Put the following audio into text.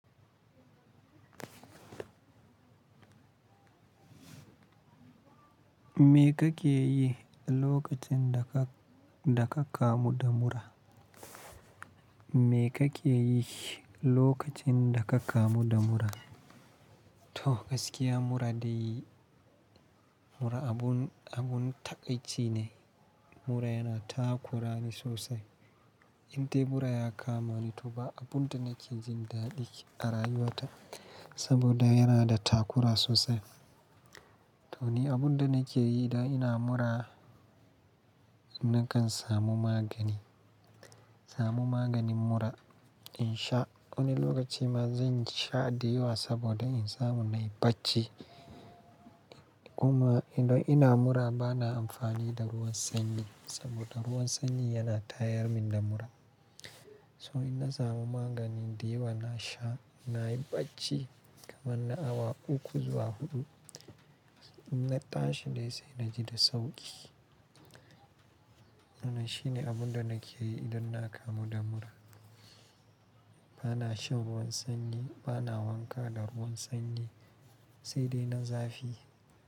Me kake yi lokacin da ka, da ka kamu da mura? Me kake yi lokacin da ka kamu da mura? To gaskiya mura dai mura abun, abun takaici ne. Mura yana takurani sosai indai mura ya kamani to ba abinda nake jin ɗaɗinshi a rayuwata saboda yana da takura sosai to ni abun da nake yi idan ina mura, na kan samu magani, samu maganin mura in sha. Wani lokaci ma zan sha ɗiyuwa saboda in samu na yi bacci. Kuma idan ina mura bana amfani da ruwan sanyi saboda ruwan sanyi yana tayar min da mura. So in na samu magani, dayawa na sha, na yi bacci kamar na awa uku zuwa huɗu. In na tashi dai sai na ji da sauƙi. Wannan shine abun da nake yi idan na kamu da mura. Bana shan ruwan sanyi, bana wanka da ruwan sanyi sai dai na zafi.